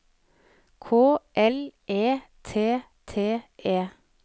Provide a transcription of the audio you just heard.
K L E T T E